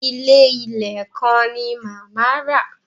Ilé ìlẹ̀ kan ni màmá rà.